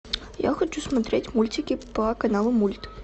я хочу смотреть мультики по каналу мульт